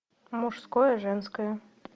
мужское женское